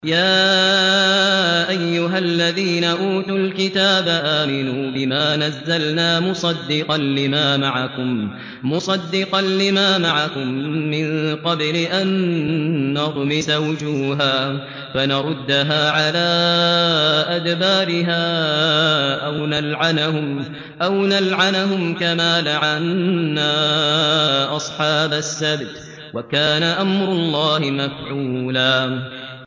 يَا أَيُّهَا الَّذِينَ أُوتُوا الْكِتَابَ آمِنُوا بِمَا نَزَّلْنَا مُصَدِّقًا لِّمَا مَعَكُم مِّن قَبْلِ أَن نَّطْمِسَ وُجُوهًا فَنَرُدَّهَا عَلَىٰ أَدْبَارِهَا أَوْ نَلْعَنَهُمْ كَمَا لَعَنَّا أَصْحَابَ السَّبْتِ ۚ وَكَانَ أَمْرُ اللَّهِ مَفْعُولًا